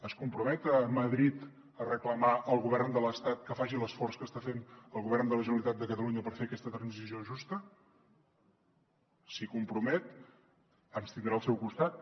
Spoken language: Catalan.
es compromet a madrid a reclamar al govern de l’estat que faci l’esforç que està fent el govern de la generalitat de catalunya per fer aquesta transició justa si s’hi compromet ens tindrà al seu costat